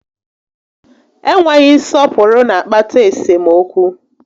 Enweghị nsọpụrụ na akpata esemokwu